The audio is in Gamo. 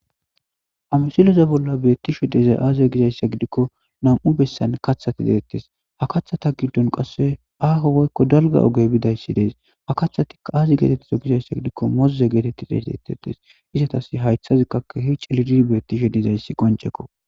Ha missileza bola betishe dizay aze gizaysa gidiko nam'u besan kethati de'etes ha kathata gidon qase aho woyko dalga oge bidaysi des ha kathatika aza getetizo gizaysa gidiko moze geteti xesetes izetas haytazika kehi c'ililidi betishe dizaysi qonc'eko .